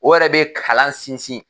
O yɛrɛ bɛ kalan sinsin